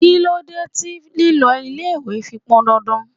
Kí ló dé tí lílọ ilé-ìwé fi pọn dandan?